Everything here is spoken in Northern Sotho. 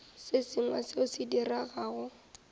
se sengwe seo se diregago